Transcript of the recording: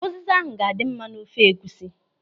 Ụziza ahụ ga-adị mma n'ofe egwusi.